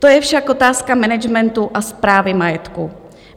To je však otázka managementu a správy majetku.